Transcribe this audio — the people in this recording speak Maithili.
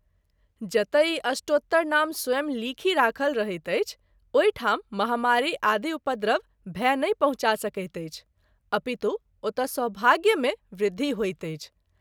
जतय ई अष्टोत्तरनाम स्वयं लिखि राखल रहैत अछि ओहि ठाम महामारी आदि उपद्रव, भय नहिं पहुँचा सकैत अछि अपितु ओतए सौभाग्य मे वृद्धि होइत अछि।